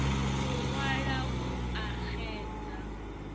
u ṅwala u a xedza